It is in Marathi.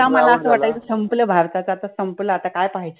तेवा मला अस वाटायच कि सम्पल भारताच आता सम्पल आता काय पाहायचि